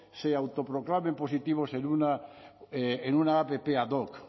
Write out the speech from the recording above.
se autoproclamen positivos en una app ad hoc